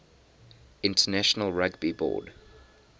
international rugby board